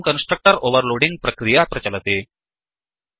एवं constructor overloading प्रक्रिया प्रचलति